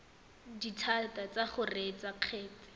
dithata tsa go reetsa kgetse